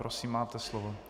Prosím máte slovo.